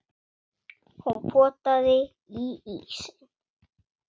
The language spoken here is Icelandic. Hún potaði í ísinn.